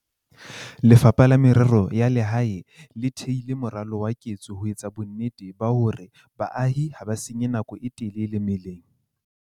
Lefapha la Merero ya Lehae le theile moralo wa ketso ho etsa bonnete ba hore baahi ha ba senye nako e telele meleng.